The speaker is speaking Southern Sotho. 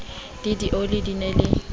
le dioli di na le